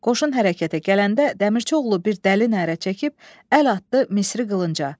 Qoşun hərəkətə gələndə, Dəmirçioğlu bir dəli nərə çəkib əl atdı Misri qılınca.